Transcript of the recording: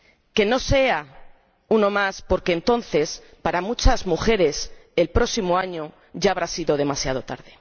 Que no sea uno más, porque entonces, para muchas mujeres, el próximo año ya habrá sido demasiado tarde.